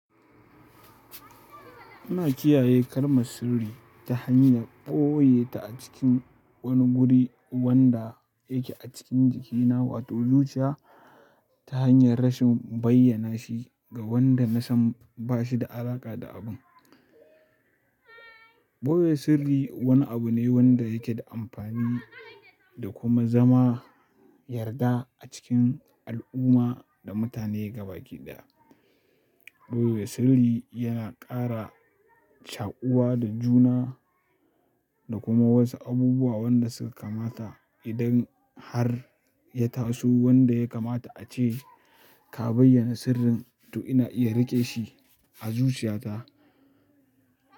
Ina kiyaye kalmar sirri ta hanyar ɓoye ta a cikin wani guri wanda yake a cikin jikina, wato zuciya ta hanyar rashin bayyana shi ga wanda na san ba shi da alaƙa da abun. Ɓoye sirri wani abu ne wanda yake da amfani, da kuma zama yarda a cikin al'umma da mutane gabaki ɗaya. Ɓoye sirri yana ƙara shaƙuwa da juna da kuma wasu abubuwa wanda suka kamata idan har ya taso wanda ya kamata ace ka bayyana sirrin to ina iya riƙe shi a zuciyata.